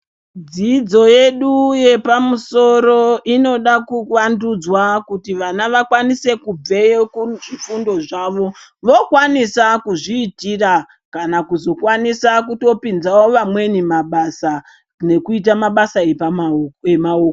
Dzidzo yedu yepamusoro inoda kuvandudzwa kuti vana vakwanise kubveyo kuzvifundo zvavo vokwanisa kuzviitira kana kuzokwanisa kutopinzawo vamweni mabasa nekuita mabasa emaoko.